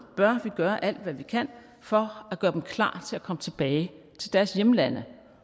bør vi gøre alt hvad vi kan for at gøre dem klar til at komme tilbage til deres hjemlande